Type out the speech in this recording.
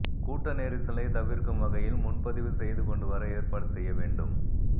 கூட்ட நெரிசலை தவிர்க்கும் வகையில் முன்பதிவு செய்து கொண்டு வர ஏற்பாடு செய்ய வேண்டும்